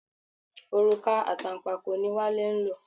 Òrùka àtànpàkò ni Wale ń lò.